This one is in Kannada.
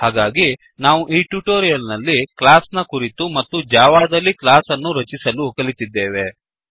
ಹಾಗಾಗಿ ನಾವು ಈ ಟ್ಯುಟೋರಿಯಲ್ ನಲ್ಲಿ ಕ್ಲಾಸ್ ನ ಕುರಿತು ಮತ್ತು ಜಾವಾದಲ್ಲಿ ಕ್ಲಾಸ್ ಅನ್ನು ರಚಿಸಲು ಕಲಿತಿದ್ದೇವೆ